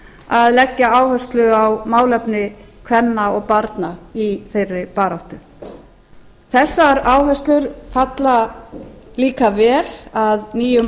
að leggja áherslu á málefni kvenna og barna í þeirri baráttu þessar áherslur falla líka vel að nýjum